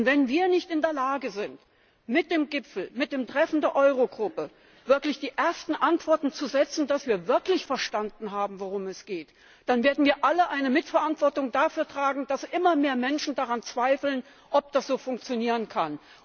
Und wenn wir nicht in der Lage sind, mit dem Gipfel, mit dem Treffen der Eurogruppe wirklich die ersten Antworten zu setzen, dass wir wirklich verstanden haben, worum es geht, dann werden wir alle eine Mitverantwortung dafür tragen, dass immer mehr Menschen daran zweifeln, ob das so funktionieren kann.